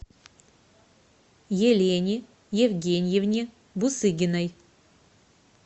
елене евгеньевне бусыгиной